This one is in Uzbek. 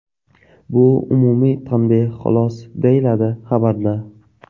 Bu umumiy tanbeh xolos”, deyiladi xabarda.